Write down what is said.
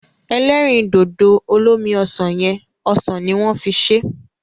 Ẹlẹ́rìndòdò olómi ọsàn yẹn, ọsàn ni wọ́n fi ṣé.